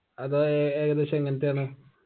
അത് ഏകദേശം എങ്ങനത്തെ ആണ്